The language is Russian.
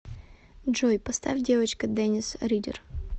джой поставь девочка денис ридер